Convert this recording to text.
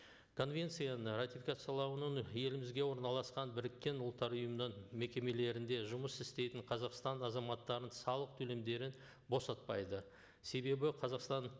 конвенцияны ратификациялауының елімізде орналасқан біріккен ұлттар ұйымының мекемелерінде жұмыс істейтін қазақстан азаматтарын салық төлемдерін босатпайды себебі қазақстан